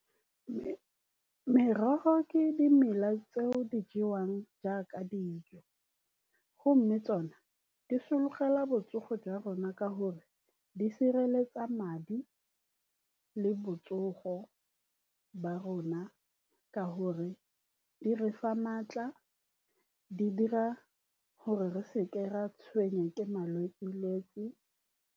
Merogo ke dimela tseo di jewang jaaka dijo, mme tsone di sologela botsogo jwa rona ka gore di sireletsa madi le botsogo ba rona, ka gore di re fa maatla, di dira gore re seka ra tshwengwa ke malwetse-lwetse.